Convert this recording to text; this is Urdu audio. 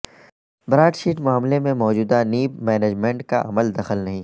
براڈ شیٹ معاملے سے موجودہ نیب مینجمنٹ کا عمل دخل نہیں